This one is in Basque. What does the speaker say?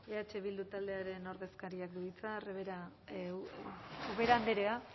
eh bildu taldearen ordezkariak du hitza ubera andrea